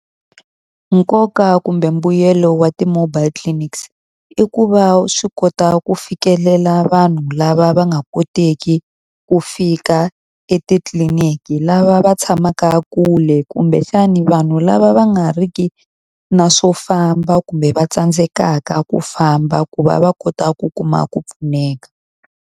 Nkoka kumbe mbuyelo wa ti-mobile clinics i ku va swi kota ku fikelela vanhu lava va nga koteki ku fika etitliliniki, lava va tshamaka kule kumbexani vanhu lava va nga ri ki na swo famba kumbe va tsandzekaka ku famba, ku va va kota ku kuma ku pfuneka.